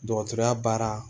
Dɔgɔtɔrɔya baara